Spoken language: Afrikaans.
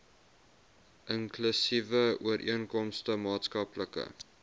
inklusiewe ooreenkomste maatskaplike